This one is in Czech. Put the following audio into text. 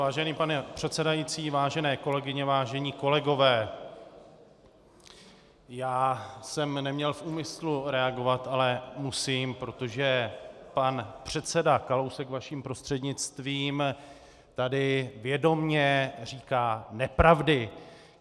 Vážený pane předsedající, vážené kolegyně, vážení kolegové, já jsem neměl v úmyslu reagovat, ale musím, protože pan předseda Kalousek, vaším prostřednictvím, tady vědomě říká nepravdy.